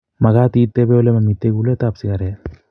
Makat itepe olemamitei kulet ap sigaret